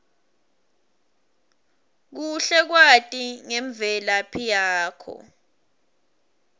kuhle kwati ngemvelaphi yakho